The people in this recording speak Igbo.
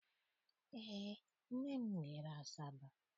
Eé, nne m jere Asaba.